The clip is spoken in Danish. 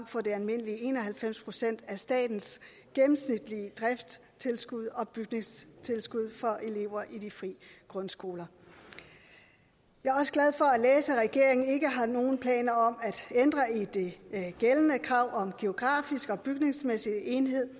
for de almindelige en og halvfems procent af statens gennemsnitlige driftstilskud og bygningstilskud for elever i de fri grundskoler jeg er også glad for at læse at regeringen ikke har nogen planer om at ændre i det gældende krav om geografisk og bygningsmæssig enhed